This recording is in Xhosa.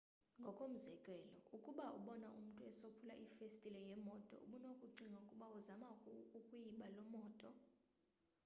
ngokomzekelo ukuba ubona umntu esophula ifestile yemoto ubunokucinga ukuba uzama ukuyiba loo moto